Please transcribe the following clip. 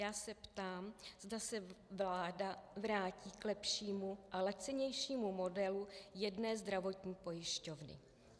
Já se ptám, zda se vláda vrátí k lepšímu a lacinějšímu modelu jedné zdravotní pojišťovny.